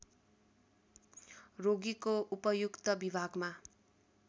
रोगीको उपयुक्त विभागमा